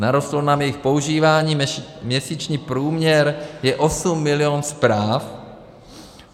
Narostlo nám jejich používání, měsíční průměr je 8 mil. zpráv.